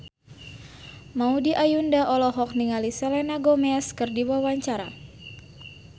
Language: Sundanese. Maudy Ayunda olohok ningali Selena Gomez keur diwawancara